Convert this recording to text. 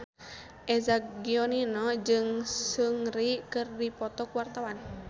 Eza Gionino jeung Seungri keur dipoto ku wartawan